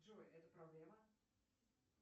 джой это проблема